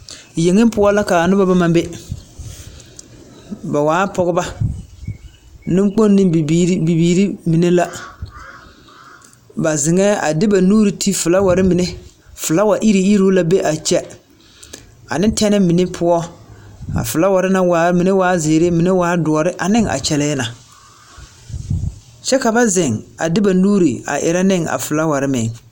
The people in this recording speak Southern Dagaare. Yeŋe poɔ la ka a noba bama be. Ba waa pɔgeba. Neŋkpoŋ ne bibiiri bibiiri mine la. Ba zeŋɛɛŋ a de ba nuuri ti felaware mine, felawa iruuiruu la be a kyɛ. Ane tɛne mine poɔ. Ba felaware na waa, mine waa zeere, mine waa soɔre aneŋ a kyɛlɛɛ na. Kyɛ ka ba zeŋ a de ba nuuri a erɛ neŋ a felaware meŋ.